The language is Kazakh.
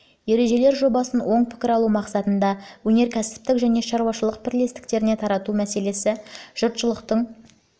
ережелер жобасын оң пікір алу мақсатында өнеркәсіптік және шаруашылық бірлестіктеріне тарату мәселесі